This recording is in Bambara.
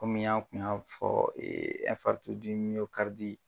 Kɔmi yan an tun y'a fɔ